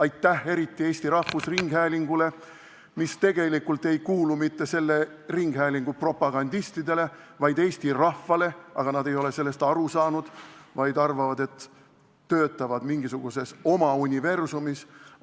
Aitäh eriti Eesti Rahvusringhäälingule, mis tegelikult ei kuulu mitte selle ringhäälingu propagandistidele, vaid eesti rahvale, aga nad ei ole sellest aru saanud, vaid arvavad, et töötavad mingisuguses oma universumis.